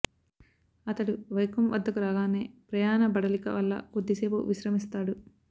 అతడు వైకోమ్ వద్దకు రాగానే ప్రయాణబడలిక వల్ల కొద్ది సేపు విశ్రమిస్తాడు